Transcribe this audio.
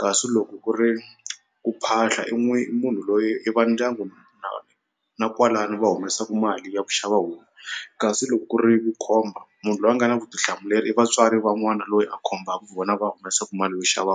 kasi loko ku ri ku phahla i i munhu loyi i va ndyangu na kwalano va humesaku mali ya ku xava homu kasi loko ku ri vukhomba munhu loyi a nga na vutihlamuleri i vatswari va n'wana loyi a khombaku vona va humesaku mali yo xava .